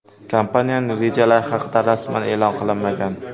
Kompaniyaning rejalari haqida rasman e’lon qilinmagan.